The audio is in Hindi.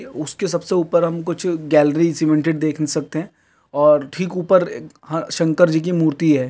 उसके सबसे ऊपर हम कुछ गैलरी सीमेंटेड देख सकते हैं और ठीक ऊपर हाँ शंकर जी की मूर्ति है।